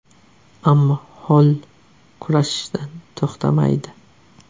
Ammo Holl kurashishdan to‘xtamaydi.